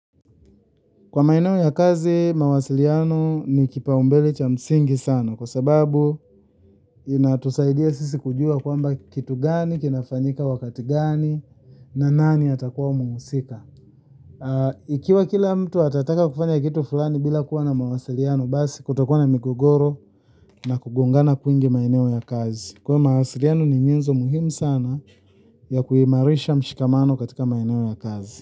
Kwa maeneo ya kazi, mawasiliano ni kipaumbele cha msingi sana, kwa sababu inatusaidia sisi kujua kwamba kitu gani kinafanyika wakati gani, na nani atakuwa mhusika. Ikiwa kila mtu atataka kufanya kitu fulani bila kuwa na mawasiliano, basi kutakuwa na migogoro na kugongana kwingi maeneo ya kazi. Kwa mawasiliano ni nyenzo muhimu sana ya kuimarisha mshikamano katika maeneo ya kazi.